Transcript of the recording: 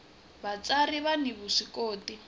vatsari vani vuswikoti